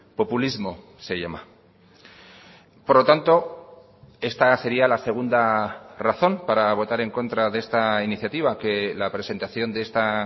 populismo se llama por lo tanto esta sería la segunda razón para votar en contra de esta iniciativa que la presentación de esta